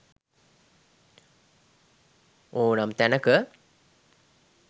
ඔනම් තැනක